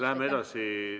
Läheme edasi.